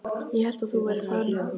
Ég hélt að þú værir farin.